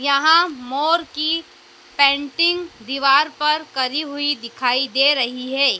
यहां मोर की पेंटिंग दीवार पर करी हुई दिखाई दे रही है।